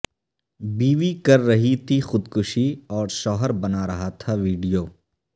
بیوی کررہی تھی خودکشی اور شوہر بنا رہا تھا ویڈیو